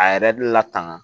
A yɛrɛ bɛ latanga